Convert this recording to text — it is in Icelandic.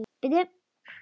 Gat það ekki.